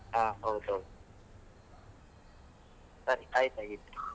ಆ ಹೌದು ಹೌದು, ಸರಿ ಆಯ್ತು ಹಾಗಿದ್ರೆ.